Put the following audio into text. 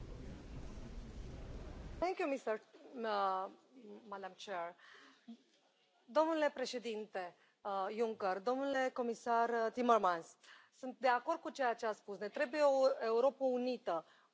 Domnule președinte Juncker, domnule comisar Timmermans, sunt de acord cu ceea ce ați spus ne trebuie o Europă unită, o unitate monetară, patriotism. Ceea ce am făcut eu în Parlamentul European ar trebui să facă fiecare